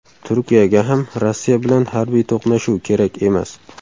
Turkiyaga ham Rossiya bilan harbiy to‘qnashuv kerak emas.